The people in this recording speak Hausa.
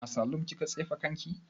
A salun kika tsefe kanki?